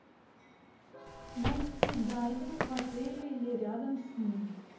найти дайвинг в отеле или рядом с ним